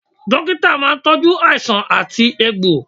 Dókítà máa ń tọju àìsàn àti egbò